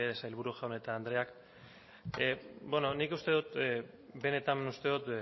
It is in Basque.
sailburu jaun eta andreak bueno nik uste dut benetan uste dut